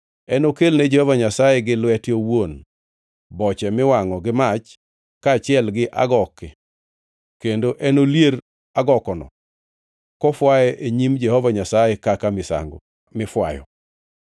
Enokelne Jehova Nyasaye gi lwete owuon boche miwangʼo gi mach kaachiel gi agoke kendo enolier agokono kofwaye e nyim Jehova Nyasaye kaka misango mifwayo.